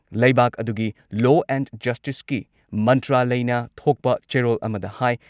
ꯂꯩꯕꯥꯛ ꯑꯗꯨꯒꯤ law and ꯖꯁꯇꯤꯁꯀꯤ ꯃꯟꯇ꯭ꯔꯥꯂꯢꯅ ꯊꯣꯛꯄ ꯆꯦꯔꯣꯜ ꯑꯃꯗ ꯍꯥꯏ